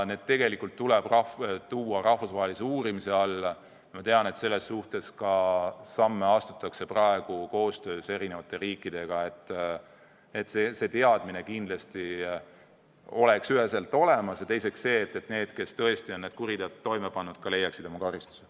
Need teod tuleb tuua rahvusvahelise uurimise alla ja ma tean, et koostöös eri riikidega astutaksegi samme, et see teadmine kindlasti oleks üheselt olemas ja et need, kes tõesti on need kuriteod toime pannud, saaksid oma karistuse.